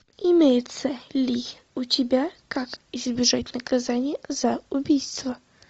имеется ли у тебя как избежать наказания за убийство